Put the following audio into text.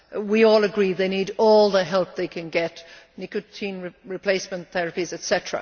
We all agree they need all the help they can get nicotine replacement therapies etc.